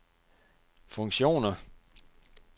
funktioner